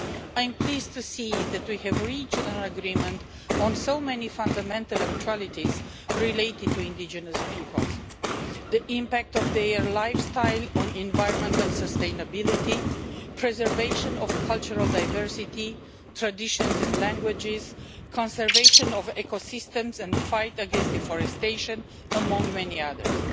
I am pleased to see that we have reached an agreement on so many fundamental actualities related to indigenous peoples the impact of their lifestyle on environmental sustainability, the preservation of cultural diversity, traditions and languages, the conservation of ecosystems and the fight against deforestation, among many others.